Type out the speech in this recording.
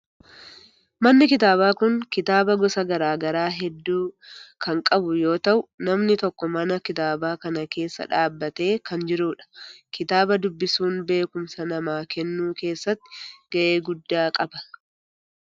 Manni kitaabaa kun kitaaba gosa garaa garaa heddu kan qabu yoo ta'u namni tokko mana kitaabaa kan keessa dhaabbatee kan jirudha. kitaaba dubbisuun beekumsa namaa kennuu geessatti gahee guddaa qaba.